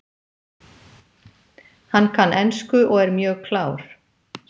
Hann kann ensku og er mjög klár.